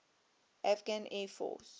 afghan air force